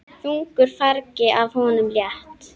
Þungu fargi af honum létt.